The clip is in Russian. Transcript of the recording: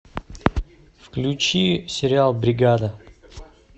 включи сериал бригада